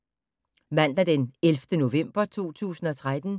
Mandag d. 11. november 2013